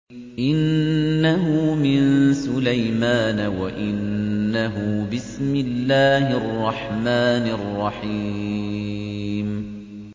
إِنَّهُ مِن سُلَيْمَانَ وَإِنَّهُ بِسْمِ اللَّهِ الرَّحْمَٰنِ الرَّحِيمِ